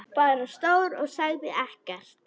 Bara stóð og sagði ekkert.